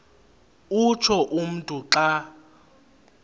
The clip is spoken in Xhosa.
utsho umntu xa